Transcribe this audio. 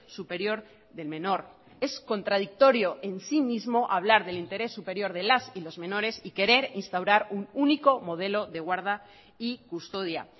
superior del menor es contradictorio en sí mismo hablar del interés superior de las y los menores y querer instaurar un único modelo de guarda y custodia